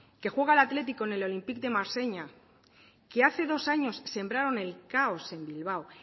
que juega el athletic contra el olympique de marsella que hace dos años sembraron el caos en bilbao